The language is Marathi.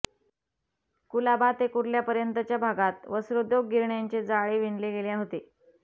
कुलाबा ते कुर्ल्यापर्यंतच्या भागात वस्त्रोद्योग गिरण्यांचे जाळे विणले गेले होते